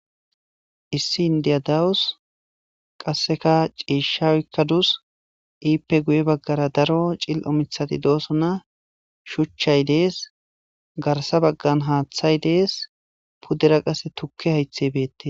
Issi indiya dawus qasseka ciishaykadus iippe guye baggara daro cil7o mithati dooso na shuchchay dees garsa baggan haaththay dees puddera qasse tukke haythe beette